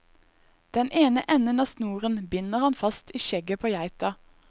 Den ene enden av snoren binder han fast i skjegget på geita.